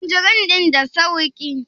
tanjirin din da sauki?